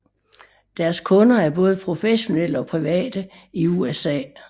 Deres kunder er både professionelle og private i USA